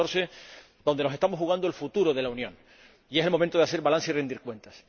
2014 nos estamos jugando el futuro de la Unión y es el momento de hacer balance y rendir cuentas.